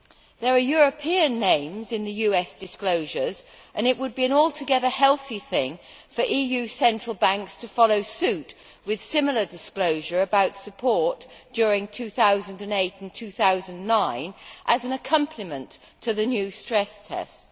There are European names in the US disclosures, and it would be an altogether healthy thing for EU central banks to follow suit with similar disclosure about support during 2008 and 2009 as an accompaniment to the new stress tests.